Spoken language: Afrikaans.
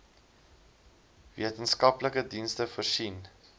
wetenskaplike dienste voorsien